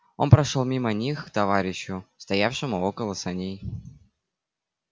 он прошёл мимо них к товарищу стоявшему около саней